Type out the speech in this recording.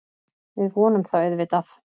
Við vonum það auðvitað